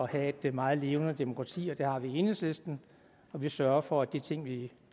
have et meget levende demokrati det har vi i enhedslisten og vi sørger for at de ting vi